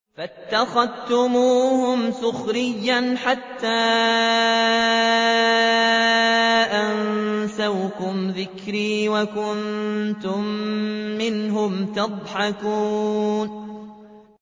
فَاتَّخَذْتُمُوهُمْ سِخْرِيًّا حَتَّىٰ أَنسَوْكُمْ ذِكْرِي وَكُنتُم مِّنْهُمْ تَضْحَكُونَ